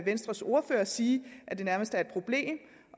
venstres ordfører sige at det nærmest er et problem